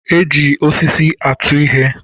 E ji osisi atụ ihe